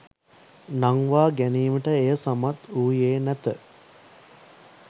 නංවා ගැනීමට එය සමත් වූයේ නැත